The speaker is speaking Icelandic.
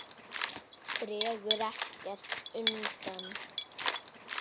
Dregur ekkert undan.